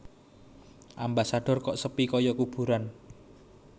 Ambasador kok sepi koyo kuburan